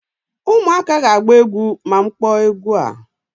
ụmụaka ga-agba egwu ma m kpọọ egwu a